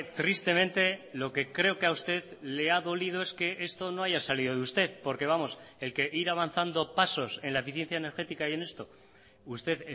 tristemente lo que creo que a usted le ha dolido es que esto no haya salido de usted porque vamos el que ir avanzando pasos en la eficiencia energética y en esto usted